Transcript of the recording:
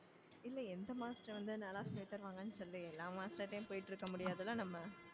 இல்லை எந்த master வந்து நல்லா சொல்லி தருவாங்கன்னு சொல்லு எல்லா master ட்டையும் போயிட்டு இருக்க முடியாதுல்ல நம்ம